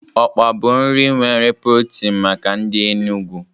Okpa bụ nri nwere protin maka ndị Enugwu.